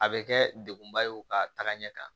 A bɛ kɛ dekunba ye o ka taga ɲɛ kan